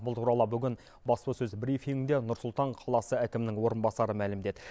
бұл туралы бүгін баспасөз брифингінде нұр сұлтан қаласы әкімінің орынбасары мәлімдеді